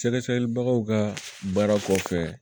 Sɛgɛsɛgɛlibagaw ka baara kɔfɛ